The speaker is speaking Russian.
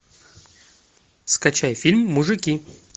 скачай фильм мужики